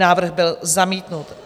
Návrh byl zamítnut.